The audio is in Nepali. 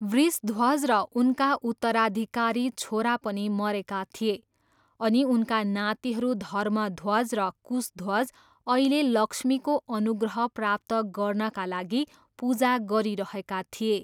वृषध्वज र उनका उत्तराधिकारी छोरा पनि मरेका थिए अनि उनका नातिहरू धर्मध्वज र कुशध्वज अहिले लक्ष्मीको अनुग्रह प्राप्त गर्नाका लागि पूजा गरिरहेका थिए।